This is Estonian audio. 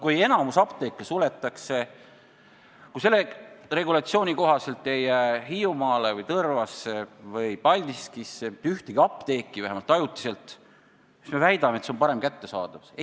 Kui enamik apteeke suletakse – kui selle regulatsiooni kohaselt ei jää Hiiumaale, Tõrvasse või Paldiskisse mitte ühtegi apteeki, vähemalt ajutiselt –, siis kuidas me saame väita, et see on parema kättesaadavuse tagamine?